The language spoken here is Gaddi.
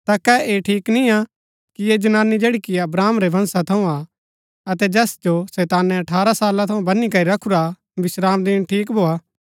ता कै ऐह ठीक निआं कि ऐह जनानी जैड़ी कि अब्राहम रै वंशा थऊँ हा अतै जैस जो शैतानै अठारह साला थऊँ बनी करी रखुरा हा विश्रामदिन ठीक भोआ